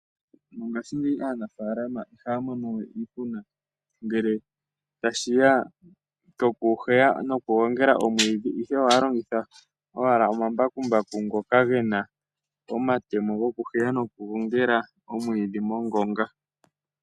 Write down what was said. Mongashingeyi aanafalama ihaya mono we iihuna ngele tashiya koku heya noku gongela omwidhi, ihe ohaya longitha owala omambakumbaku ngoka gena omatemo goku heya noku gongela omwidhi mongonga.